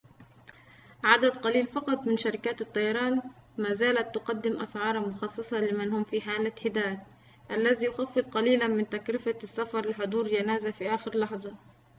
عدد قليل فقط من شركات الطيران ما زالت تقدم أسعاراً مخصصة لمن هم في حالة حداد الذي يخفض قليلاً من تكلفة السفر لحضور جنازة في آخر لحظة